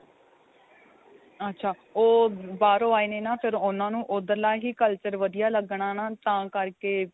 ਅੱਛਾ ਉਹ ਬਾਹਰੋ ਆਏ ਨੇ ਨਾ ਫ਼ਿਰ ਉਨ੍ਹਾਂ ਨੂੰ ਉੱਧਰਲਾ ਹੀ culture ਵਧੀਆ ਲੱਗਣਾ ਨਾ ਤਾਂ ਕਰਕੇ